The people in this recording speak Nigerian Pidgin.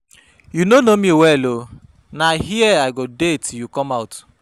You no know me well uh, na here I go dey till you come out